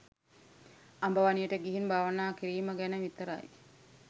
අඹ වනයට ගිහින් භාවනා කිරීම ගැන විතරයි.